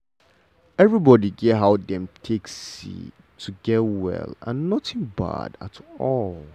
everybody get how dem take see to get well and nothing bad at all.